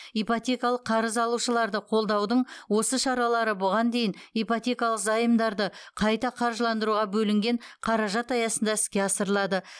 ипотекалық қарыз алушыларды қолдаудың осы шаралары бұған дейін ипотекалық заемдарды қайта қаржыландыруға бөлінген қаражат аясында іске асырылады